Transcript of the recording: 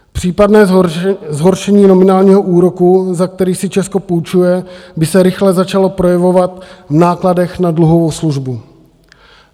Případné zhoršení nominálního úroku, za který si Česko půjčuje, by se rychle začalo projevovat v nákladech na dluhovou službu.